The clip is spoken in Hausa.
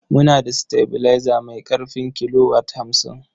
Muna da sitabilaiza mai ƙarfin kilowat hamsin.